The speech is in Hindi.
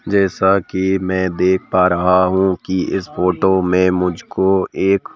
जैसा कि मैं देख पा रहा हूं कि इस फोटो में मुझको एक--